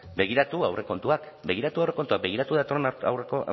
begiratu aurrekontuak begiratu aurrekontuak begiratu datorren